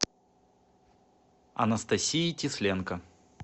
анастасии тесленко